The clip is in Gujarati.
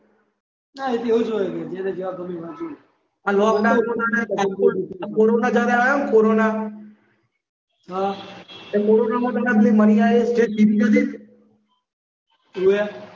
હા એ તો એવું જ હોય જેને જેવા ગમે એવા જોવે આ લોકડાઉનમાં આ કોરોના જ્યારે આવ્યો ને કોરોના હા એમાં પેલી